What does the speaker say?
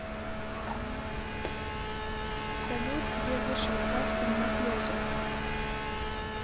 салют где вышел кафка на пляже